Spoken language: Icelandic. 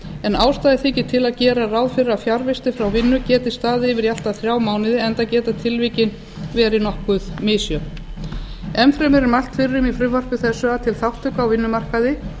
en ástæða þykir til að gera ráð fyrir að fjarvistir frá vinnu geti staðið yfir í allt að þrjá mánuði enda geta tilvikin verið nokkuð misjöfn enn fremur er mælt fyrir um í frumvarpi þessu að til þátttöku á vinnumarkaði